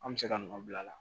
An bɛ se ka nɔ bila a la